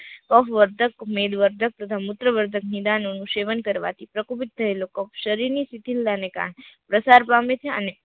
અહવધક મેઘવધક તથા મૂત્રવર્ધક નિદાન નો નું સેવન કરવા થી પ્રકોપિત થયેલો કફ શરીર ની શીતળતા ને કારણે પ્રસાર પામે છે અને